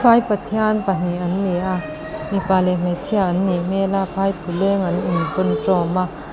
vai pathian pahnih an ni a mipa leh hmeichhia an nih hmel a phaiphuleng an inphun tawm a.